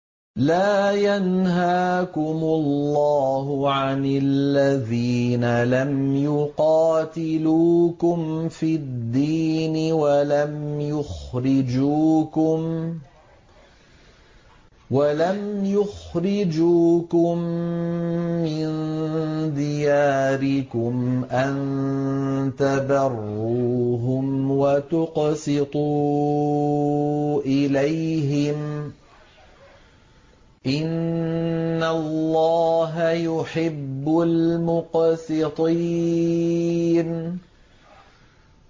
لَّا يَنْهَاكُمُ اللَّهُ عَنِ الَّذِينَ لَمْ يُقَاتِلُوكُمْ فِي الدِّينِ وَلَمْ يُخْرِجُوكُم مِّن دِيَارِكُمْ أَن تَبَرُّوهُمْ وَتُقْسِطُوا إِلَيْهِمْ ۚ إِنَّ اللَّهَ يُحِبُّ الْمُقْسِطِينَ